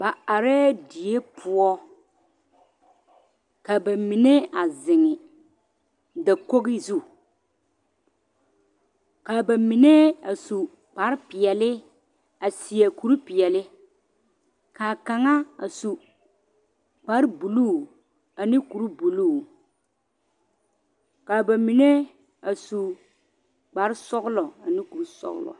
Ba arɛɛ die poɔ ka bamine a zeŋ dakogi zu ka bamine a su kpare peɛle a seɛ kuri peɛle k'a kaŋa a su kpare buluu ane kuri buluu k'a bamine su kpare sɔgelɔ ane kuri sɔgelɔ.